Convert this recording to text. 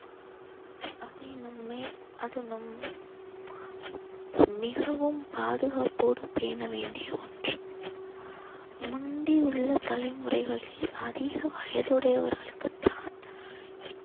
அதை நம்மை அது நம் மிகவும் பாதுகாப்போடு பேண வேண்டிய ஒண்று முந்தி உள்ள தலைமுறைகளில் அதிக வயதுடையவர்களுக்குத் தான்